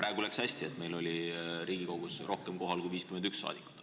Praegu läks hästi, et meil oli Riigikogus kohal rohkem kui 51 rahvasaadikut.